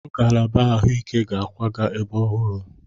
Ngalaba ahụike ga-akwaga ebe ọhụrụ.